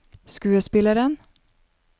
skuespilleren